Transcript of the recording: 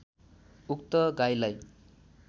उक्त गाईलाई